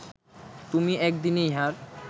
তুমি এক দিনে ইহার